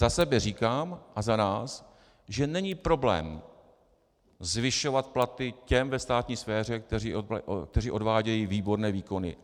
Za sebe říkám a za nás, že není problém zvyšovat platy těm ve státní sféře, kteří odvádějí výborné výkony.